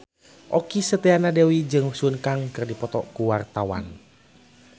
Okky Setiana Dewi jeung Sun Kang keur dipoto ku wartawan